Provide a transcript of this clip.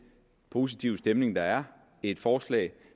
positive stemning der er et forslag